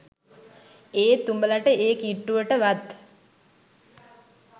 ඒත් උඹලට ඒ කිට්ටුවට වත්